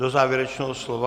Do závěrečného slova?